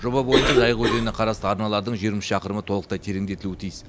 жоба бойынша жайық өзеніне қарасты арналардың жиырма үш шақырымы толықтай тереңдетілуі тиіс